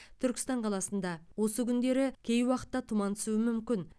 түркістан қаласында осы күндері кей уақытта тұман түсуі мүмкін